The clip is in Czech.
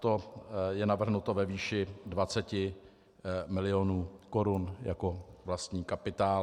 To je navrženo ve výši 20 milionů korun jako vlastní kapitál.